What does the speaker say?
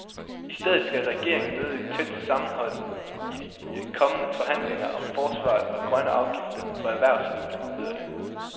I stedet skal regeringen møde et tæt sammenhold i de kommende forhandlinger om forsvaret og grønne afgifter på erhvervslivet, hedder det.